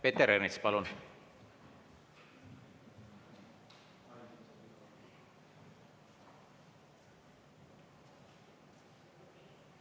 Peeter Ernits, palun!